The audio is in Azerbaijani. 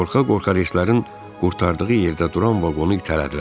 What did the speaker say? Qorxa-qorxa reyslərin qurtardığı yerdə duran vaqonu itələdilər.